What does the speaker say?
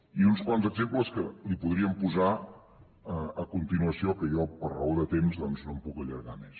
i uns quants exemples que li podríem posar a continuació que jo per raó de temps doncs no em puc allargar més